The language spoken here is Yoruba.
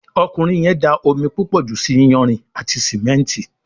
Ọkùnrin yén dá omí púpọ jù ṣì iyanrìn àti simẹnti.